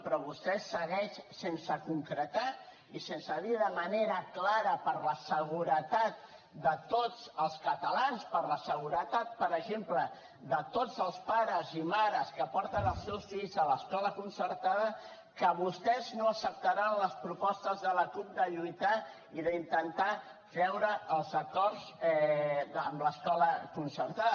però vostè segueix sense concretar i sense dir de manera clara per la seguretat de tots els catalans per la seguretat per exemple de tots els pares i mares que porten els seus fills a l’escola concertada que vostès no acceptaran les propostes de la cup de lluitar i d’intentar treure els acords amb l’escola concertada